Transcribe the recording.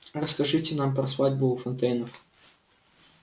расскажите нам про свадьбу у фонтейнов